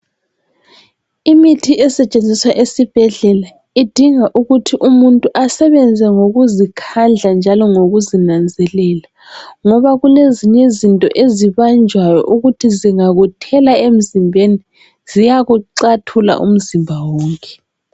Imithi esetshenziswa esibhedlela idinga ukuthi umuntu asebenze ngokuzikhandla njalo ngokuzinanzelela. Ngoba kulezinye izinto ezibanjwayo okuthi zingakuthela emzimbeni ziyakuxathula emzimbeni.